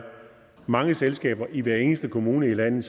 mange selskaber i hver eneste kommune i landet